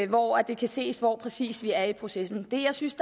hvoraf det kan ses hvor vi præcis er i processen det jeg synes